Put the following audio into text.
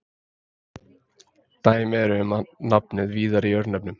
Dæmi eru um nafnið víðar í örnefnum.